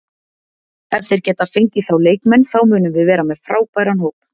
Ef þeir geta fengið þá leikmenn þá munum við vera með frábæran hóp.